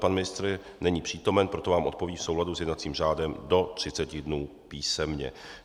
Pan ministr není přítomen, proto vám odpoví v souladu s jednacím řádem do 30 dnů písemně.